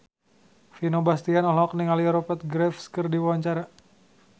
Vino Bastian olohok ningali Rupert Graves keur diwawancara